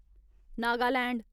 Nagaland